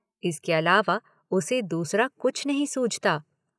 इसके अलावा उसे दूसरा कुछ नहीं सूझता।